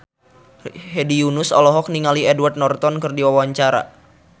Hedi Yunus olohok ningali Edward Norton keur diwawancara